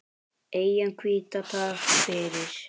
Eyjan hvíta, takk fyrir.